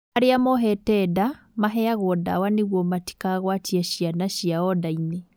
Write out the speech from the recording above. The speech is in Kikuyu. Arĩa mohete nda maheagwo ndawa nĩguo matikagwatie ciana ciao ndainĩ